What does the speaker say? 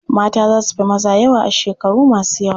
Mata za su fi maza yawa a shekaru masu yawa.